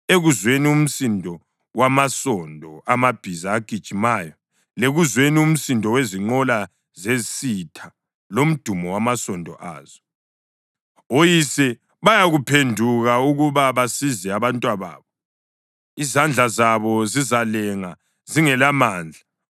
ekuzweni umsindo wamasondo amabhiza agijimayo, lekuzweni umsindo wezinqola zesitha lomdumo wamasondo azo. Oyise kabayikuphenduka ukuba basize abantwababo; izandla zabo zizalenga zingelamandla.